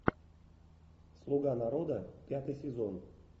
слуга народа пятый сезон